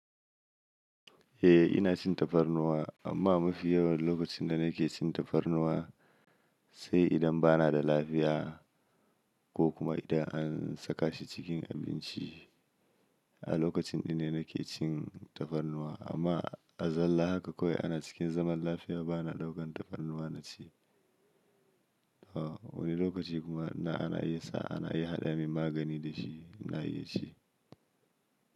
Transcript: Eh ina cin tafarnuwa amma mafi yawan lokacin da nake cin tafarnuwa sai idan bana da lafiya ko kuma idan an saka shi cikin abinci. A lokacin ɗin ne nake cin tafarnuwa amma a zalla haka kawai ana cikin zaman lafiya bana ɗaukan tafarnuwa na ci. Wani lokaci kuma ina ana iya sa ana haɗa min magani dashi ina iya ci.